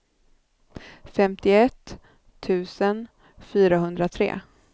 femtioett tusen fyrahundratre